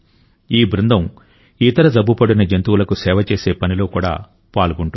ఈ బృందం ఇతర జబ్బుపడిన జంతువులకు సేవ చేసే పనిలో కూడా పాల్గొంటుంది